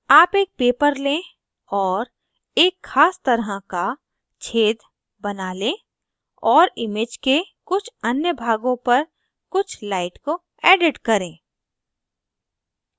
आप एक paper लें और एक ख़ास तरह का छेद बना लें और image के कुछ अन्य भागों पर कुछ light को edit करें